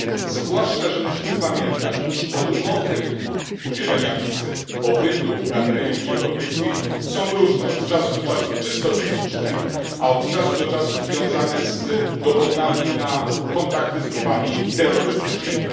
Zwłaszcza że musimy pamiętać, iż odmowy udzielenia wizy, pobytu na terenie Unii Europejskiej są różne od czasu do czasu czysto techniczne, a od czasu do czasu związane z dowodami na kontakty z grupami terrorystycznymi.